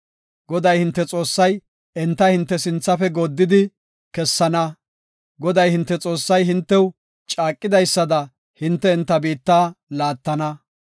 Goday, hinte Xoossay enta hinte sinthafe gooddidi kessana. Goday, hinte Xoossay hintew caaqidaysada hinte enta biitta laattana.